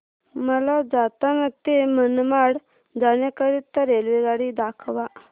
मला जालना ते मनमाड जाण्याकरीता रेल्वेगाडी दाखवा